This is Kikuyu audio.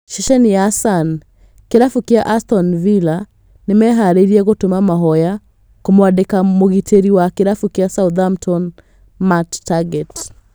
Ceceni ya Sun, Kĩrabu kĩa Aston Villa nĩmeharĩrĩirie gũtũma mahoya kũmwandĩka mũgitĩri wa kĩrabu kĩa Southampton Matt Targett